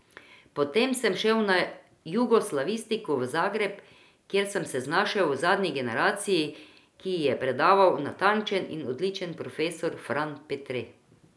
Potem sem šel na jugoslavistiko v Zagreb, kjer sem se znašel v zadnji generaciji, ki ji je predaval natančen in odličen profesor Fran Petre.